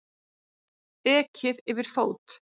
Ekið yfir fót